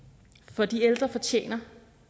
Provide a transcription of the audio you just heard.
for de ældre fortjener